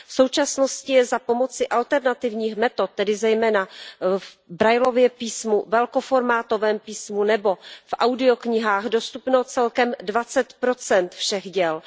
V současnosti je za pomoci alternativních metod, tedy zejména v Braillově písmu, velkoformátovém písmu nebo v audioknihách dostupných celkem 20 všech děl.